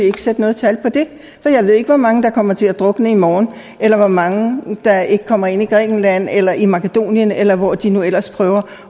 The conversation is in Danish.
ikke sætte noget tal på det for jeg ved ikke hvor mange der kommer til at drukne i morgen eller hvor mange der ikke kommer ind i grækenland eller ind i makedonien eller hvor de nu ellers prøver